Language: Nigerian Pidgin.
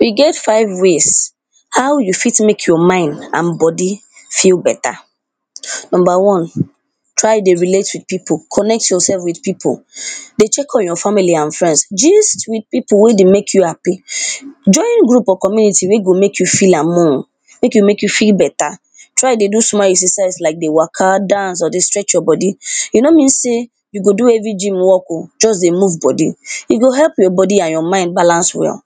We get five ways how you fit make your mind and body feel better. number one, try dey relate with pipu connect yoursef with pipu, dey check on your family and friends gist with pipu wey dey make you happy join group of community wey go make you fill among make e make you full better try dey do small exercise like dey wake, dance dey stretch your body, e no mean sey you go do heavy Jim work oh just dey move body e go help your body and your mind as well,